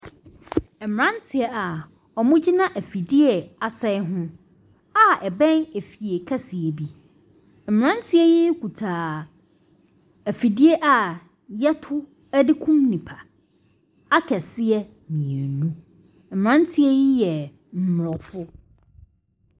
Mmeranteɛ a wɔgyina afidie a asɛe ho a ɛbɛn efie kɛseɛ bi. Mmeranteɛ yi kuta afidie a wɔto de kum nnipa akɛseɛ mmienu. Mmeranteɛ yi yɛ aborɔfo.